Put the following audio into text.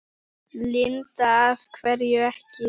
Linda: Af hverju ekki?